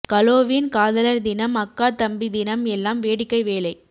கலோவின் காதலர் தினம் அக்கா தம்பி தினம் எல்லாம் வேடிக்கை வேலை